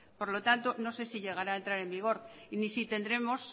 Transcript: por lo tanto no sé si llegará a entrar en vigor y ni si tendremos